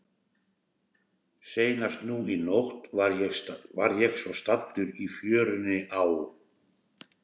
Seinast nú í nótt var ég svo staddur í fjörunni á